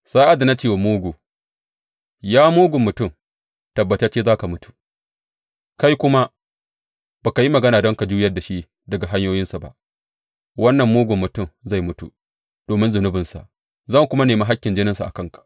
Sa’ad da na ce wa mugu, Ya mugun mutum, tabbatacce za ka mutu,’ kai kuma ba ka yi magana don ka juyar da shi daga hanyoyinsa ba, wannan mugun mutum zai mutu domin zunubinsa, zan kuma nemi hakkin jininsa a kanka.